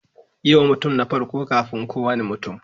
Yi wa mutum na farko kafin kowane mutum.